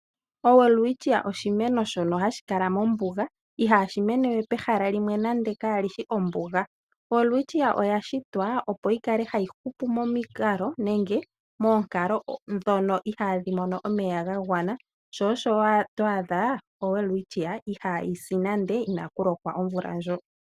OWelwitchia oshimeno shono hashi kala mombuga ihashi mene pehala limwe kali shi nande ombuga. Welwitshia Mirabilis oya shitwa opo yikale hayi hupu momikalo nenge moonkalo ndhon ihaadhi mene momeya, sho osho waadha oWelwitchia ihaayi si nande kukale inaaku lokwa.